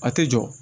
A tɛ jɔ